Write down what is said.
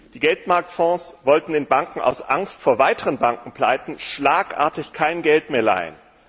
Die Geldmarktfonds wollten den Banken aus Angst vor weiteren Bankenpleiten schlagartig kein Geld mehr leihen.